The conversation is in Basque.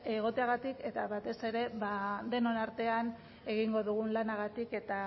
egoteagatik eta batez ere denon artean egingo dugun lanagatik eta